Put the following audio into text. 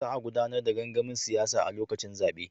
Za a gudanar da gangamin siyasa a lokacin zabe.